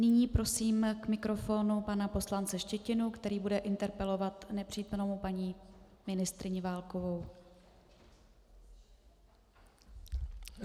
Nyní prosím k mikrofonu pana poslance Štětinu, který bude interpelovat nepřítomnou paní ministryni Válkovou.